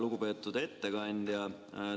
Lugupeetud ettekandja!